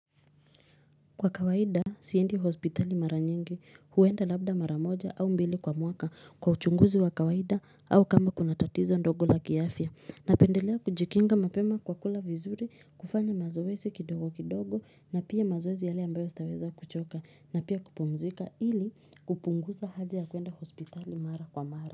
Kwa kawaida siendi hospitali maranyingi huenda labda maramoja au mbili kwa mwaka kwa uchunguzi wa kawaida au kama kuna tatizo dogo la kiafya napendelea kujikinga mapema kwa kula vizuri kufanya mazoezi kidogo kidogo na pia mazoezi yale ambayo sitaweza kuchoka na pia kupumzika ili kupunguza haja ya kwenda hospitali mara kwa mara.